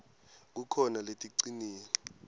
kukhona leticinile